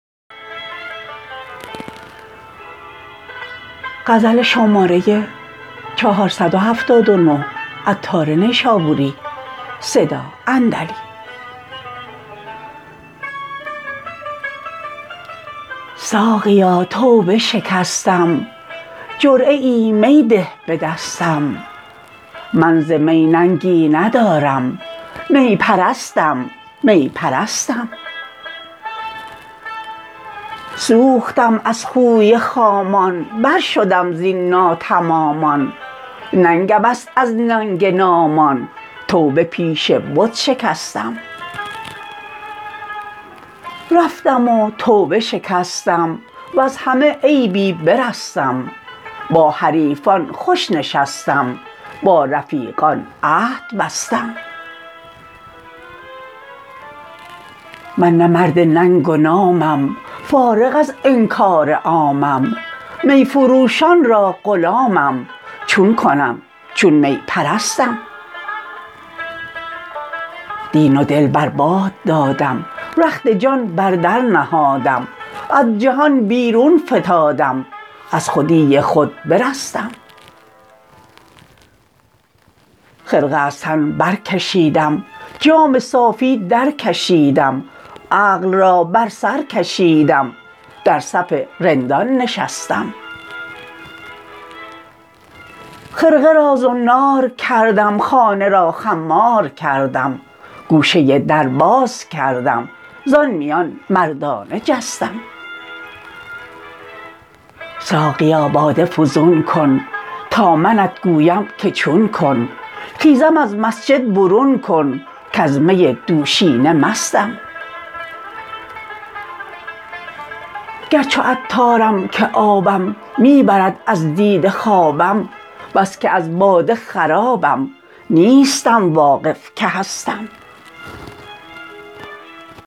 ساقیا توبه شکستم جرعه ای می ده به دستم من ز می ننگی ندارم می پرستم می پرستم سوختم از خوی خامان بر شدم زین ناتمامان ننگم است از ننگ نامان توبه پیش بت شکستم رفتم و توبه شکستم وز همه عیبی برستم با حریفان خوش نشستم با رفیقان عهد بستم من نه مرد ننگ و نامم فارغ از انکار عامم می فروشان را غلامم چون کنم چون می پرستم دین و دل بر باد دادم رخت جان بر در نهادم از جهان بیرون فتادم از خودی خود برستم خرقه از تن برکشیدم جام صافی در کشیدم عقل را بر سر کشیدم در صف رندان نشستم خرقه را زنار کردم خانه را خمار کردم گوشه در باز کردم زان میان مردانه جستم ساقیا باده فزون کن تا منت گویم که چون کن خیزم از مسجد برون کن کز می دوشینه مستم گر چو عطارم که آبم می برد از دیده خوابم بس که از باده خرابم نیستم واقف که هستم